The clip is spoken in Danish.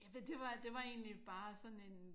Ja men det var det var egentlig bare sådan en